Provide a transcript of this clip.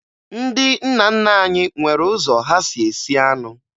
Ndị nna nna anyị nwere ụzọ ha si esi anụ